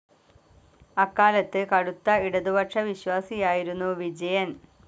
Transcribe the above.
അക്കാലത്ത് കടുത്ത ഇടതുപക്ഷവിശ്വാസിയായിരുന്നു വിജയൻ.